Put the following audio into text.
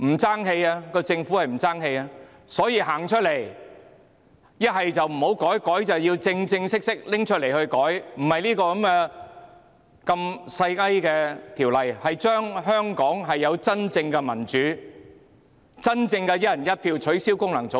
政府應站出來，要麼不修訂，要麼便正正式式修改，並非《條例草案》般小修小改，而是讓香港有真正的民主，真正的"一人一票"，取消功能界別。